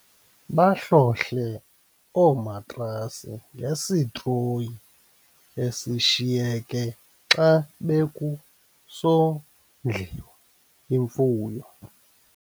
Bahlohle oomatrasi ngesitroyi esishiyeke xa bekusondliwa imfuyo.